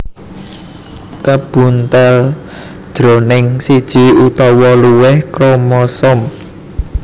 kabuntel jroning siji utawa luwih kromosom